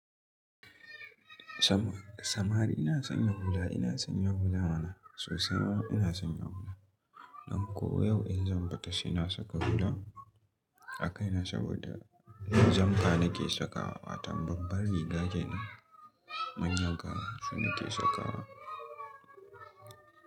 Samari ina son yin hula, ina son yin hula mana sosai ma ina son yin hula. Don ko yau in zan bata, ina saka hula a kaina saboda jumpa nake sakawa. Watan babban riga kenan manyan kama su nake sakawa.